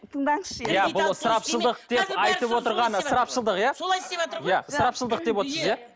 тыңдаңызшы енді иә бұл ысырапшылдық деп айтып отырғаны ысырапшылдық иә солай істеватыр ғой ысырапшылдық девотсыз иә